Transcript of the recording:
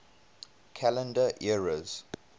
calendar eras